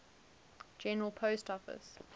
general post office